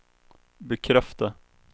bekräfta